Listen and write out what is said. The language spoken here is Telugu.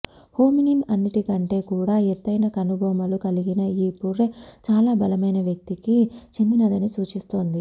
హోమినిన్ లన్నిటికంటే కూడా ఎత్తైన కనుబొమలు కలిగిన ఈ పుర్రె చాలా బలమైన వ్యక్తికి చెందినదని సూచిస్తోంది